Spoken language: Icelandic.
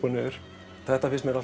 og niður þetta finnst mér